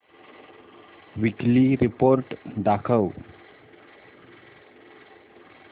weekly report दाखव